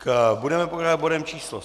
Budeme pokračovat bodem číslo